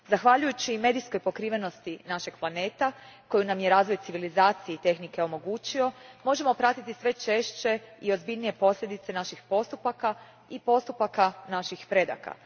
Zahvaljujući medijskoj pokrivenosti našeg planeta koju nam je razvoj civilizacije i tehnike omogućio, možemo pratiti sve češće i ozbiljnije posljedice naših postupaka i postupaka naših predaka.